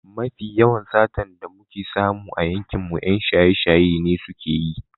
Mafi yawan satar da muke samu a yankinmu 'yan shaye-shaye ne suke yi.